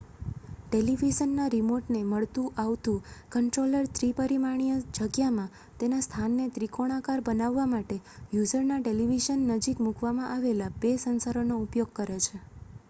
ટેલીવિઝનનાં રીમોટને મળતું આવતું કન્ટ્રોલર ત્રિપરિમાણીય જગ્યામાં તેના સ્થાનને ત્રિકોણાકાર બનાવવા માટે યુઝરના ટેલીવિઝન નજીક મૂકવામાં આવેલા બે સેન્સરોનો ઉપયોગ કરે છે